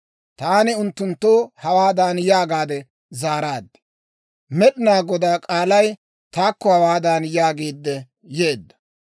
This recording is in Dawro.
Taani unttunttoo hawaadan yaagaade zaaraad; «Med'inaa Godaa k'aalay taakko hawaadan yaagiidde yeedda;